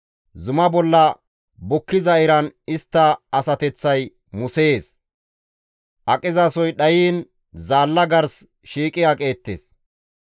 Zuma bolla bukkiza iran istta asateththay musees; aqizasoy dhayiin zaalla gars shiiqi aqeettes.